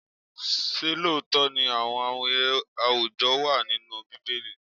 Ṣé lóòótọ́ ni àwọn amuye àwùjọ wà nínú Bíbélì?